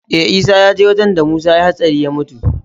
Eh isa yaje wajan da musa yayi hatsari ya mutu